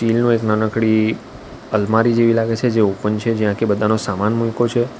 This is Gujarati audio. બેલનો એક નાનકડી અલમારી જેવી લાગે છે જે ઓપન છે જ્યાં કે બધાનો સામાન મુયકો છે.